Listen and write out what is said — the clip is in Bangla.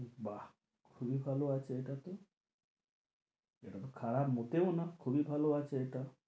বাহ্ খুবই ভালো আছে এটাতে এটা তো খারাপ মোটেও না খুবই ভালো এটা